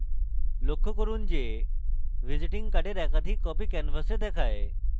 লক্ষ্য করুন যে visiting card একাধিক copies canvas দেখায়